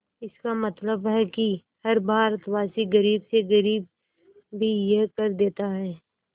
इसका मतलब है कि हर भारतवासी गरीब से गरीब भी यह कर देता है